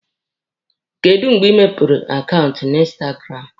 Kedụ mgbe ị mepere akaụntụ na instagramụ?